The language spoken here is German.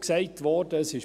es wurde auch gesagt.